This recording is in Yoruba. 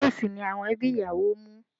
Léèsì ni àwọn ẹbí ìyàwó mú